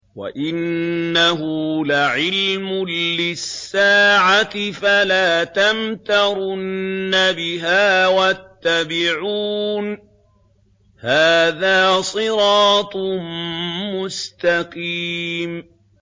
وَإِنَّهُ لَعِلْمٌ لِّلسَّاعَةِ فَلَا تَمْتَرُنَّ بِهَا وَاتَّبِعُونِ ۚ هَٰذَا صِرَاطٌ مُّسْتَقِيمٌ